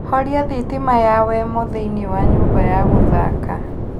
horia thitima ya wemo thĩinĩ wa nyũmba ya gũthaka